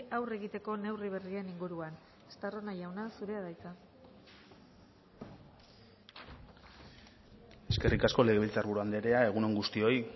aurre egiteko neurri berrien inguruan estarrona jauna zurea da hitza eskerrik asko legebiltzarburu andrea egun on guztioi